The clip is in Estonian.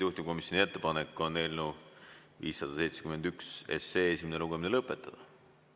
Juhtivkomisjoni ettepanek on eelnõu 571 esimene lugemine lõpetada.